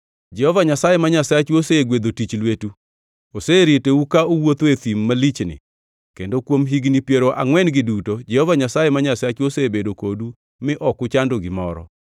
Jehova Nyasaye ma Nyasachu osegwedho tich lwetu. Oseritou ka uwuotho e thim malichni kendo kuom higni piero angʼwen-gi duto Jehova Nyasaye ma Nyasachu osebedo kodu mi ok uchando gimoro.